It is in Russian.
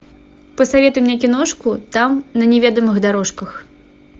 посоветуй мне киношку там на неведомых дорожках